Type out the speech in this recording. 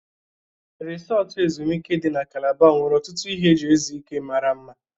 Risọtụ ezumike dị na Kalaba nwere ọtụtụ ihe eji ezu ike mara mma.